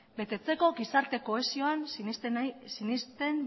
betetzeko gizarte kohesioan sinesten